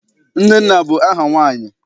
Nnenna bụ aha nwaanyị.